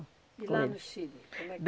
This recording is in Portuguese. E lá no Chile? Como é que